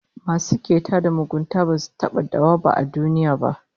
Masu keta da mugunta basu taba dawwaba a duniya ba